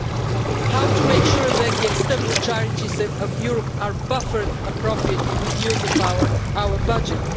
and how to make sure that the external challenges of Europe are buffered appropriately with the use of our budget.